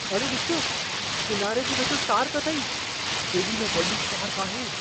अड़े ॾिसु! किनारे जे वेझो शार्कु अथई। केॾी न वॾी शार्क आहे!